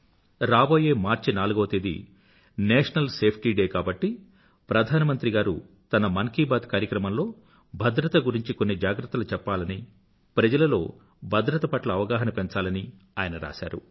రాబోయే మార్చి నాలుగవ తేదీ నేషనల్ సేఫ్టీ డే కాబట్టి ప్రధానమంత్రిగారు తన మన్ కీ బాత్ కార్యక్రమంలో భద్రత గురించి కొన్ని జాగ్రత్తలు చెప్పాలనీ ప్రజలలో భద్రత పట్ల అవగాహన పెంచాలని ఆయన రాసారు